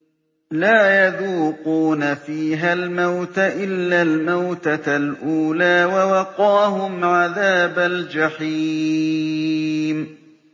لَا يَذُوقُونَ فِيهَا الْمَوْتَ إِلَّا الْمَوْتَةَ الْأُولَىٰ ۖ وَوَقَاهُمْ عَذَابَ الْجَحِيمِ